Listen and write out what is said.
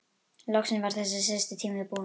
Loksins var þessi síðasti tími búinn.